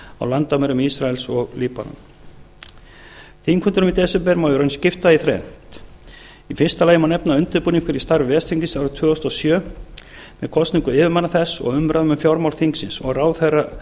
á landamærum ísraels og líbanons þingfundunum í desember má í raun skipta í þrennt í fyrsta lagi má nefna undirbúning fyrir starf ves þingsins árið tvö þúsund og sjö með kosningu yfirmanna þess og umræðum um fjármál þingsins og